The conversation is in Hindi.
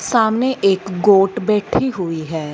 सामने एक गोट बैठी हुई है।